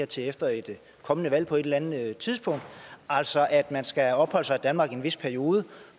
til efter et kommende valg på et eller andet tidspunkt altså at man skal have opholdt sig i danmark i en vis periode